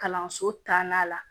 Kalanso taa na la